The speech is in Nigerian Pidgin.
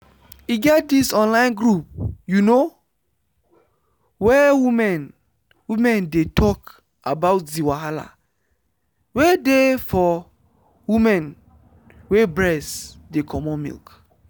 e get this online group you know where women women dey talk about the wahala wey dey for women wey breast dey comot milk.